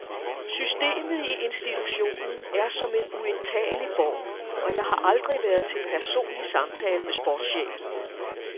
Systemet i institutionen er som en uindtagelig borg og jeg har aldrig været til personlig samtale med sportschefen.